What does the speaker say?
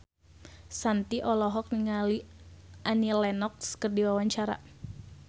Shanti olohok ningali Annie Lenox keur diwawancara